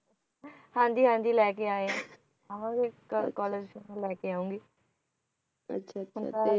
ਹਾਂਜੀ ਹਾਂਜੀ ਲੈਕੇ ਆਏ ਆ ਆਵਾਂਗੇ ਕ college ਲੈਕੇ ਆਊਂਗੀ ਅੱਛਾ ਅੱਛਾ